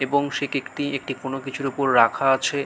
এবং সে কেকটি একটি কোনো কিছুর উপর রাখা আছে--